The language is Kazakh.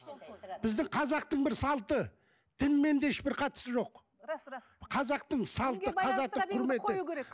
біздің қазақтың бір салты дінмен де ешбір қатысы жоқ рас рас қазақтың салты қазақтың құрметі